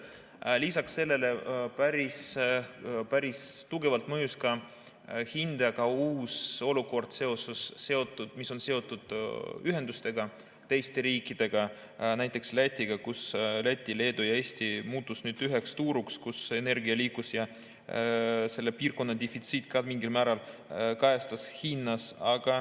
Lisaks sellele päris tugevalt mõjutas hinda ka uus olukord, mis on seotud ühendustega teiste riikidega, näiteks Lätiga, kus Läti, Leedu ja Eesti muutusid nüüd üheks turuks, kus energia liikus, ja selle piirkonna defitsiit ka mingil määral kajastus hinnas.